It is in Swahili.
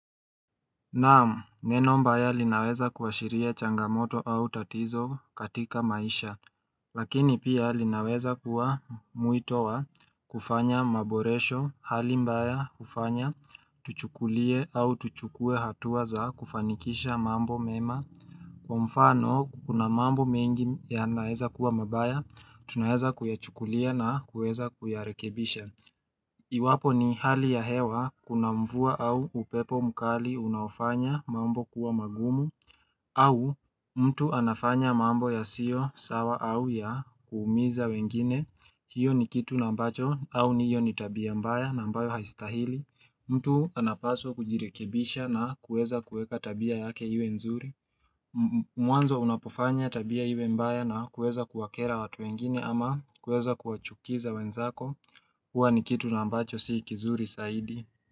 Naam neno mbaya linaweza kuashiria changamoto au tatizo katika maisha Lakini pia linaweza kuwa mwito wa kufanya maboresho hali mbaya hufanya tuchukulie au tuchukue hatua za kufanikisha mambo mema Kwa mfano kuna mambo mingi yanaweza kuwa mabaya tunaweza kuyachukulia na kuweza kuyarekebisha Iwapo ni hali ya hewa kuna mvua au upepo mkali unaofanya mambo kuwa magumu au mtu anafanya mambo yasio sawa au ya kuumiza wengine hiyo ni kitu nambacho au ni hiyo ni tabia mbaya na ambayo haistahili mtu anapaswa kujirekebisha na kuweza kuweka tabia yake iwe nzuri Mwanzo unapofanya tabia iwe mbaya na kuweza kuwakera watu wengine ama kuweza kuwachukiza wenzako Huwa ni kitu na ambacho si kizuri zaidi.